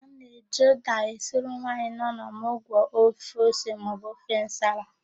A na-eji ụ́dà esiri nwaanyị nọ n'ọmụgwọ ofe ose maọbụ ofe nsala.